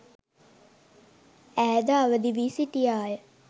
ඈ ද අවදි වී සිටියා ය.